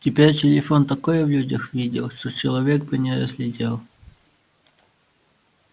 теперь телефон такое в людях видел что человек бы не разглядел